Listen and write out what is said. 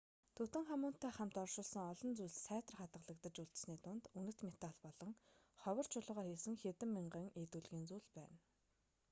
тутанхамунтай хамт оршуулсан олон зүйлс сайтар хадгалагдаж үлдсэний дунд үнэт металл болон ховор чулуугаар хийсэн хэдэн мянган эд өлгийн зүйл байна